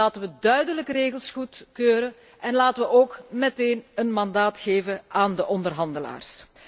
Laten we duidelijke regels goedkeuren en laten we ook meteen een mandaat geven aan de onderhandelaars.